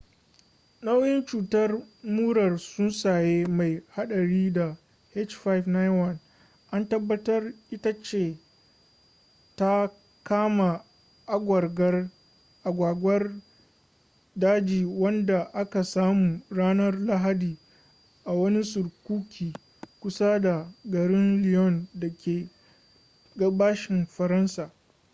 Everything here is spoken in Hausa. nau’in cutar murar tsuntsaye mai hadari ta h5n1 an tabbatar ita ce ta kama agwagwar daji wadda aka samu ranar lahadi a wani surkuki kusa da garin lyon da ke gabashin faransa